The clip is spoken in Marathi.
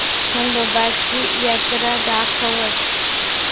खंडोबा ची जत्रा दाखवच